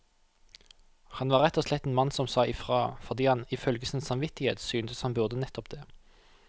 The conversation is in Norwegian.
Han var rett og slett en mann som sa ifra, fordi han ifølge sin samvittighet syntes han burde nettopp det.